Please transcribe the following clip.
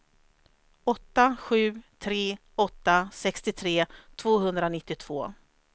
åtta sju tre åtta sextiotre tvåhundranittiotvå